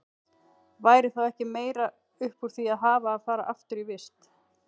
Væri þá ekki meira upp úr því að hafa að fara aftur í vist?